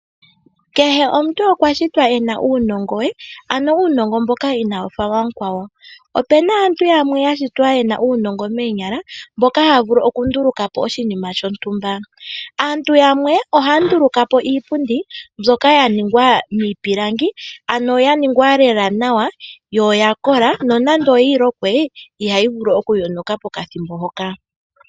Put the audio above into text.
Kehe omuntu okwa shitwa e na uunongo we, ano uunongo mboka inaawu fa wa mukwawo. Opu na aantu yamwe ya shitwa ye na uunongo moonyala, mboka haya vulu okunduluka po oshinima shontumba. Aantu yamwe ohaya nduluka po iipundi, mbyoka ya ningwa miipilangi, ano ya ningwa lela nawa yo oya kola nonando oyi lokwe ihayi vulu okuyonuka pokathimbo hoka.